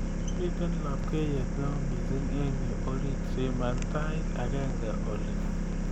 Miten labkeiyet neo mising eng yu orit siman tait agenge oli